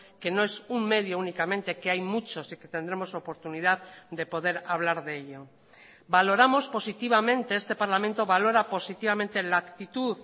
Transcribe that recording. que no es un medio únicamente que hay muchos y que tendremos oportunidad de poder hablar de ello valoramos positivamente este parlamento valora positivamente la actitud